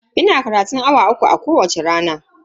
Ina karatun awa uku a kowacce rana.